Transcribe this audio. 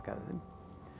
þeim